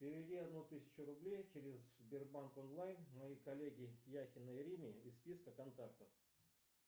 переведи одну тысячу рублей через сбербанк онлайн моей коллеге яхиной ирине из списка контактов